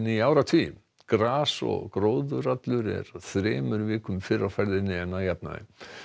í áratugi gras og gróður allur er þremur vikum fyrr á ferðinni en að jafnaði